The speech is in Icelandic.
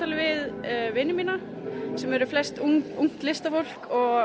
við vini mína sem eru flest ungt listafólk og